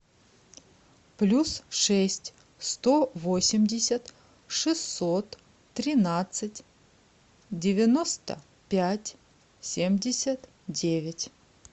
плюс шесть сто восемьдесят шестьсот тринадцать девяносто пять семьдесят девять